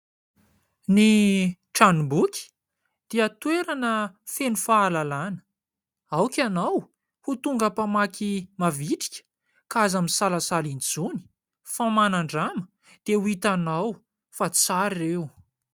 Ny tranomboky dia toerana feno fahalalàna. Aoka ianao ho tonga mpamaky mavitrika ka aza misalasala intsony fa manandrama dia ho hitanao fa tsara ireo.